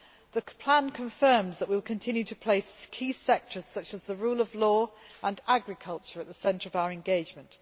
The plan confirms that we will continue to place key sectors such as the rule of law and agriculture at the centre of our engagement.